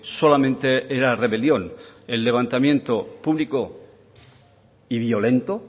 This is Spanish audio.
solamente era rebelión el levantamiento público y violento